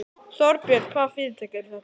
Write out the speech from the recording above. Þorbjörn: Hvaða fyrirtæki eru þetta?